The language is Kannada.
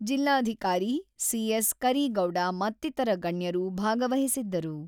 ಜಿಲ್ಲಾಧಿಕಾರಿ ಸಿ.ಎಸ್.ಕರೀಗೌಡ ಮತ್ತಿತರ ಗಣ್ಯರು ಭಾಗವಹಿಸಿದ್ದರು.